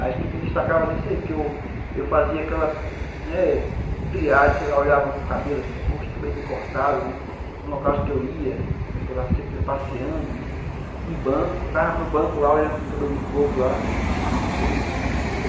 Acho que me destacava nisso aí, porque eu eu fazia aquela, né, triagem, sei lá, olhava um cabelo assim, poxa, cabelo bem cortado, né, no local que eu ia, né, sempre passeando, né, em banco, ficava no banco olhando pelo cabelo do povo lá, cada cabelo.